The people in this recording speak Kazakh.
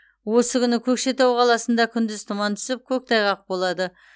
осы күні көкшетау қаласында күндіз тұман түсіп көктайғақ болады